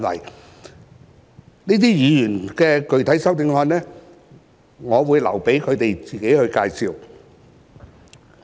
該等議員的具體修正案，我會留待他們自己介紹。